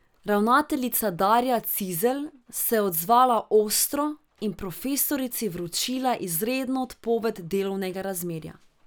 Ravnateljica Darja Cizelj se je odzvala ostro in profesorici vročila izredno odpoved delovnega razmerja.